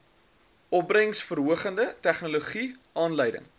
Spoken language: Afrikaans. opbrengsverhogende tegnologie aanleiding